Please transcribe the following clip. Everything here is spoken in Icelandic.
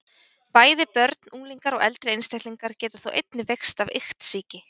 Bæði börn, unglingar og eldri einstaklingar geta þó einnig veikst af iktsýki.